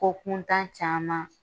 Ko kuntan caman